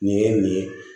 Nin ye nin ye